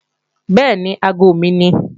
Bẹ́ẹ̀ni, aago mi ni